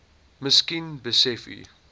miskien besef u